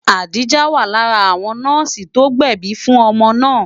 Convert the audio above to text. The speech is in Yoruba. Adijah wà lára àwọn nọ́ọ̀sì tó gbẹ̀bi fún ọmọ náà.